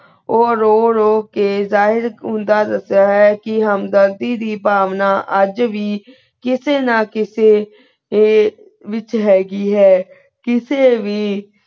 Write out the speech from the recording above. ਊ ਰੋ ਰੋ ਕੇ ਜ਼ਾਹਿਰ ਕੁੰਡਾ ਦਸ੍ਯ ਹੋਯਾ ਕੇ ਹੁਮ੍ਦਾਰਦੀ ਦੀ ਭਾਵਨਾ ਅਜੇ ਵੀ ਕਿਸੇ ਨਾ ਕਿਸੇ ਦੇ ਵਿਚ ਹੈ ਗੀ ਹੈ ਕਿਸੇ ਵੀ